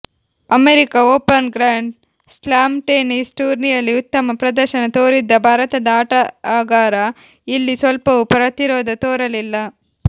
America Open grand slam tennis ಟೂರ್ನಿಯಲ್ಲಿ ಉತ್ತಮ ಪ್ರದರ್ಶನ ತೋರಿದ್ದ ಭಾರತದ ಆಟಗಾರ ಇಲ್ಲಿ ಸ್ವಲ್ಪವೂ ಪ್ರತಿರೋಧ ತೋರಲಿಲ್ಲ